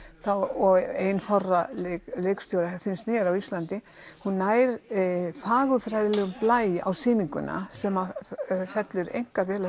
og ein fárra leikstjóra finnst mér á Íslandi hún nær fagurfræðilegum blæ á sýninguna sem fellur einkar vel að